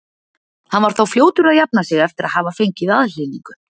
Hann var þó fljótur að jafna sig eftir að hafa fengið aðhlynningu.